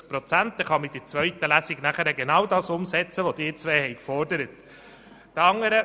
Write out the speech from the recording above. Dann kann man in der zweiten Lesung genau das umsetzen, was Sie beide gefordert haben.